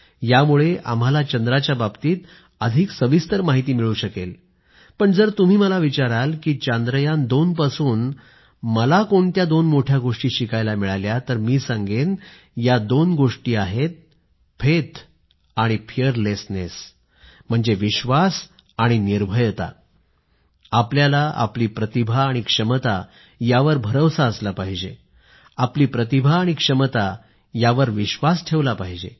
यामुळे आम्हाला चंद्राच्या बाबतीत अधिक सविस्तर माहिती मिळू शकेल पण जर तुम्ही मला विचाराल की चांद्रयान2 पासून मला काय दोन मोठ्या गोष्टी शिकायला मिळाल्या तर मी सांगेन या दोन गोष्टी आहेत फेथ आणि फिअरलेसनेस म्हणजे विश्वास आणि निर्भयता आपल्याला आपली प्रतिभा आणि क्षमता यावर विश्वास असला पाहिजे आपली प्रतिभा आणि क्षमता यावर विश्वास ठेवला पाहिजे